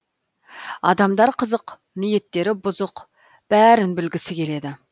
адамдар қызық ниеттері бұзық бәрін білгісі келеді